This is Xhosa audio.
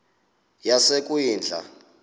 yasekwindla